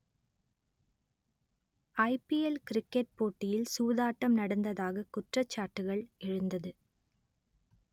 ஐ P L cricket போட்டியில் சூதாட்டம் நடந்ததாக குற்றச்சாட்டுகள் எழுந்தது